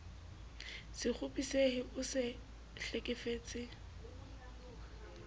se kgopisehe o se hlekefetse